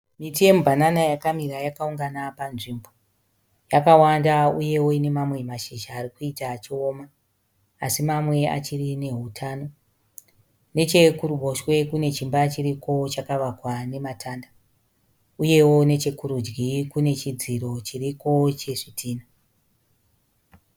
Miti yemu banana yakamira yakaungana panzvimbo. Yakawanda uyewo ine mamwe mashizha arikuita achioma, así mamwe achiri nehutano. Nechekuruboshwe kune chimba chiriko chakavakwa nematanda. Uyewo nechekurudyi Kune chidziro chiriko chezvidhina.